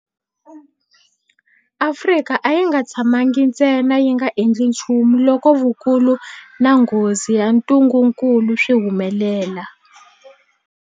Afrika a yi nga tshamangi ntsena yi nga endli nchumu loko vukulu na nghozi ya ntungukulu swi humelela.